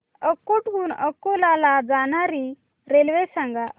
अकोट हून अकोला ला जाणारी रेल्वे सांग